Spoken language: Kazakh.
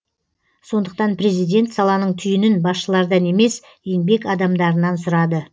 сондықтан президент саланың түйінін басшылардан емес еңбек адамдарынан сұрады